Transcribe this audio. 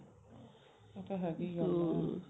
ਉਹ ਤਾ ਹੈਗਾ ਈ ਐ